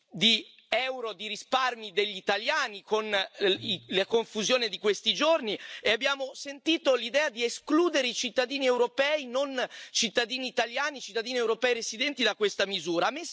di euro di risparmi degli italiani con la confusione di questi giorni e abbiamo sentito l'idea di escludere i cittadini europei non cittadini italiani, cittadini europei residenti da questa misura.